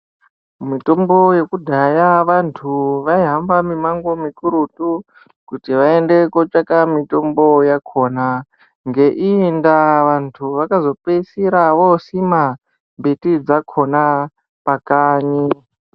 Mitombo yekudhaya vantu vaihamba mimango mikurutu Kuti vaende kotsvaka mitombo yakona ngeiyi nda vantu Vakazopedzisira vosika mbiti dzakona pakanyi.